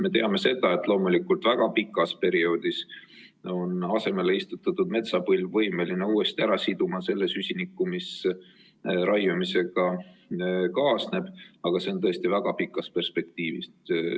Me teame, et väga pikas perioodis on asemele istutatud metsapõlv võimeline uuesti ära siduma selle süsiniku, mis raiumisega kaasneb, aga seda tõesti väga pikas perspektiivis.